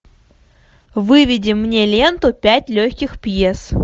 выведи мне ленту пять легких пьес